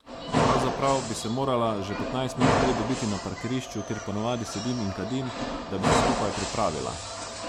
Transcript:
Pravzaprav bi se morala že petnajst minut prej dobiti na parkirišču, kjer ponavadi sedim in kadim, da bi se skupaj pripravila.